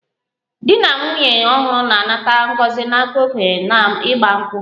Dị na nwụnye ọhuru na-anata ngọzi n'aka okenye na igba nkwu